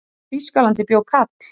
Á Þýskalandi bjó kall.